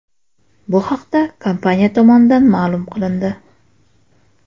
Bu haqda kompaniya tomonidan ma’lum qilindi .